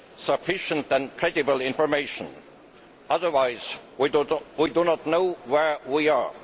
sufficient and credible information, otherwise we do not know where we are.